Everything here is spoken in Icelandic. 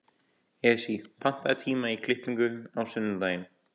Esí, pantaðu tíma í klippingu á sunnudaginn.